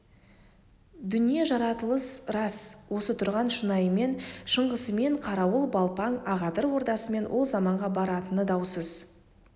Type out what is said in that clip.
дүние жаратылыс рас осы тұрған шұнайымен шыңғысымен қарауыл балпаң ақадыр ордасымен ол заманға баратыны даусыз